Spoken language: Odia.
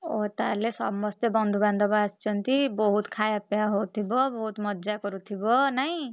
ଓହୋ ତାହେଲେ ସମସ୍ତେ ବନ୍ଧୁବାନ୍ଧବ ଆସିଛନ୍ତି, ବହୁତ୍ ଖାୟାପିୟା ହଉଥିବ ବହୁତ୍ ମଜା କରୁଥିବ ନାଇଁ?